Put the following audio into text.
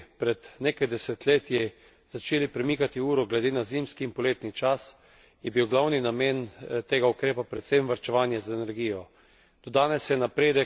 Po tem, ko smo v Evropi pred nekaj desetletji začeli premikati uro glede na zimski in poletni čas, je bil glavni namen tega ukrepa predvsem varčevanje z energijo.